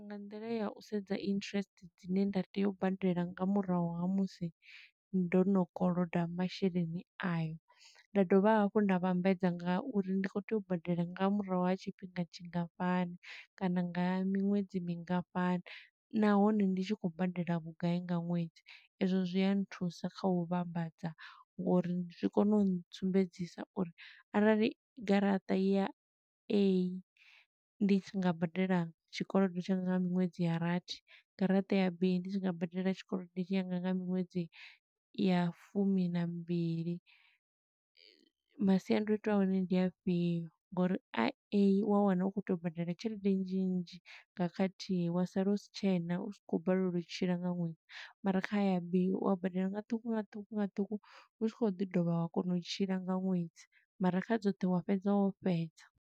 Nga nḓila ya u sedza interest dzine nda tea u badela nga murahu ha musi ndo no koloda masheleni ayo. Nda dovha hafhu nda vhambedza nga uri ndi khou tea u badela nga murahu ha tshingafhani tshi ngafhani kana nga miṅwedzi mingafhani. Nahone ndi tshi khou badela vhugai nga ṅwedzi, ezwo zwi a nthusa kha u vhambadza, ngo uri zwi kona u sumbedzisa uri arali garaṱa ya A, ndi tshi nga badela tshikolodo tshanga nga miṅwedzi ya rathi, garaṱa ya B, ndi tshi nga badela tshikolodo tshi yanga nga miṅwedzi ya fumi na mimbili, masiandoitwa a hone ndi afhio. Ngo uri a A, u wa wana u khou tou badela tshelede nnzhi nnzhi nga khathihi, wa sala u si tshena, u tshi khou balelwa u tshila nga ṅwedzi. Mara kha ya B, u a badela nga ṱhukhu nga ṱhukhu nga ṱhukhu, u tshi khou ḓi dovha wa kona u tshila nga ṅwedzi, mara kha dzoṱhe wa fhedza wo fhedza.